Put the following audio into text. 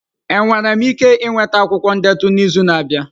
Enwere m ike ịnweta akwụkwọ ndetu n'izu na-abịa?